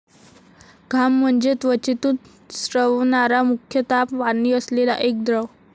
घाम म्हणजे त्वचेतून स्रवणारा मुख्यतः पाणी असलेला एक द्रव.